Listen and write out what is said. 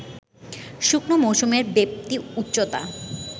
শুকনো মৌসুমের ব্যাপ্তি, উচ্চতা